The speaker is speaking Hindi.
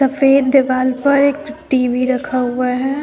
सफेद दीवाल पर एक टी_वी रखा हुआ है।